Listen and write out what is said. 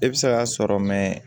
E bɛ se k'a sɔrɔ